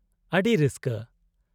- ᱟᱹᱰᱤ ᱨᱟᱹᱥᱠᱟᱹ !